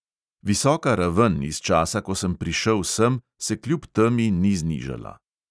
Visoka raven iz časa, ko sem prišel sem, se kljub temi ni znižala.